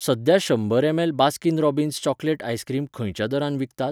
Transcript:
सध्या शंबर ML Baskin Robbins chocolate ice cream खंयच्या दरान विकतात?